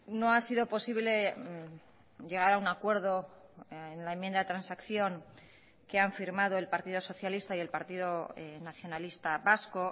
no ha sido posible llegar a un acuerdo en la enmienda de transacción que han firmado el partido socialista y el partido nacionalista vasco